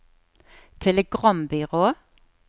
telegrambyrå